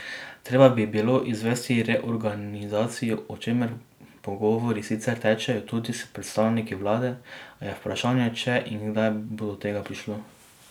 Treba bi bilo izvesti reorganizacijo, o čemer pogovori sicer tečejo, tudi s predstavniki vlade, a je vprašanje, če in kdaj bo do tega prišlo.